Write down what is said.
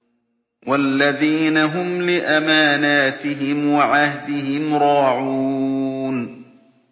وَالَّذِينَ هُمْ لِأَمَانَاتِهِمْ وَعَهْدِهِمْ رَاعُونَ